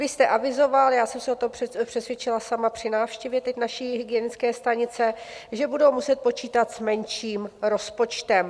Vy jste avizoval - já jsem se o tom přesvědčila sama při návštěvě teď naší hygienické stanice - že budou muset počítat s menším rozpočtem.